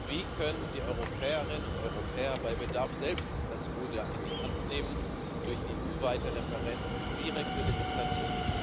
Wie können die Europäerinnen und Europäer bei Bedarf selbst das Ruder in die Hand nehmen durch EU weite Referenden und direkte Demokratie?